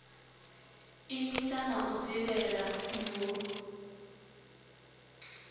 imisa na u dzivhela mul